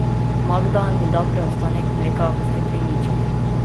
Magda mi da preostanek mleka v steklenički.